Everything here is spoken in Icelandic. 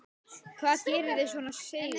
Hvað gerir þig svona seigan?